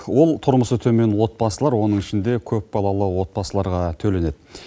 ол тұрмысы төмен отбасылар оның ішінде көпбалалы отбасыларға төленеді